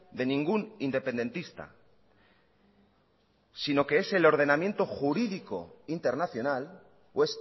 de ningún independentista sino que es el ordenamiento jurídico internacional o